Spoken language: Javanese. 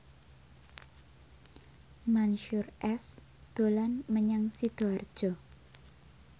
Mansyur S dolan menyang Sidoarjo